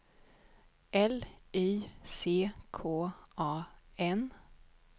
L Y C K A N